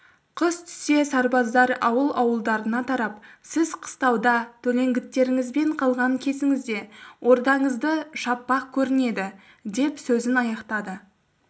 қыс түсе сарбаздар ауыл-ауылдарына тарап сіз қыстауда төлеңгіттеріңізбен қалған кезіңізде ордаңызды шаппақ көрінеді деп сөзін аяқтады